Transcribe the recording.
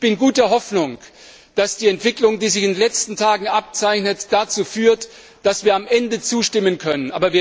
Ich bin guter Hoffnung, dass die Entwicklung, die sich in den letzten Tagen abzeichnet, dazu führt, dass wir am Ende zustimmen können.